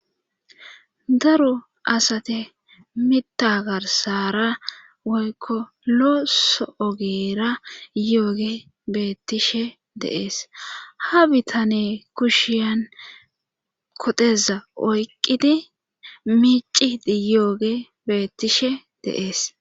daro asate mita garsara woykko looso ogeera yooge beettishe deees ha bitane kushiyan kodeza oyqqidi miici yooge beettishe de'ees